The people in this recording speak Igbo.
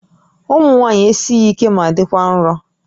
Ụmụ nwaanyị esighi ike ma dịkwa nro